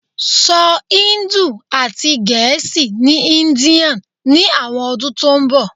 so Hindi ati Gẹẹsi ni India ni awọn ọdun to nbọ